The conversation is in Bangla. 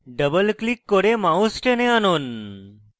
double click করে mouse টেনে আনুন